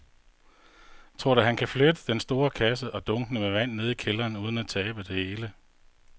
Tror du, at han kan flytte den store kasse og dunkene med vand ned i kælderen uden at tabe det hele?